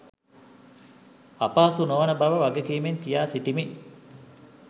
අපහසු නොවන බව වගකීමෙන් කියාසිටිමි